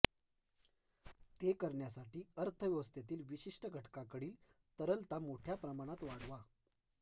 ते करण्यासाठी अर्थव्यवस्थेतील विशिष्ट घटकाकडील तरलता मोठ्या प्रमाणात वाढवा